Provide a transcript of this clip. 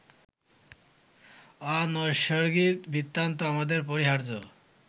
অনৈসর্গিক বৃত্তান্ত আমাদের পরিহার্য